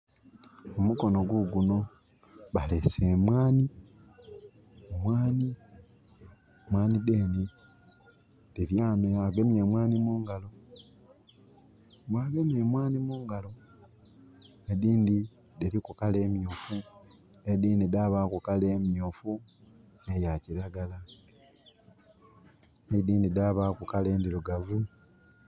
Omukono guguno balese emwanhi, mwanhi dhenhe dhiri ghano agemye emwanhi mungalo. Bw'agemye emwanhi mungalo, edindhi dhiriku kala emyufu edindhi dhabaku kala emyufu ne ya kilagala. Edindhi dhabaku kala endhirugavu.